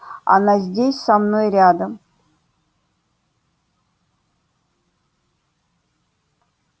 она здесь со мной рядом